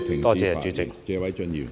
多謝主席。